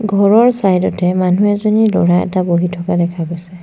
ঘৰৰ চাইড তে মানুহ এজনী ল'ৰা এটা বহি থকা দেখা গৈছে।